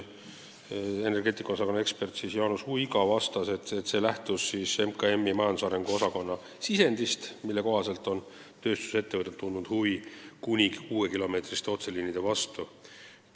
Energeetika osakonna ekspert Jaanus Uiga vastas, et see lähtus MKM-i majandusarengu osakonna sisendist, mille kohaselt on tööstusettevõtted tundnud huvi kuni kuuekilomeetriste otseliinide vastu.